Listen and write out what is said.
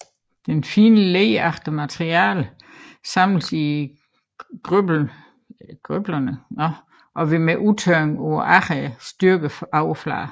Det fine leragtige materiale samles i grøblerne og vil ved udtørring på agrene styrke overfladen